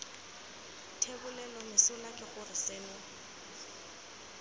thebolelo mesola ke gore seno